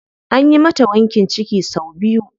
Anyi mata wankin ciki sau biyu.